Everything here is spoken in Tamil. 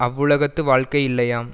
அவ்வுலகத்து வாழ்க்கை இல்லையாம்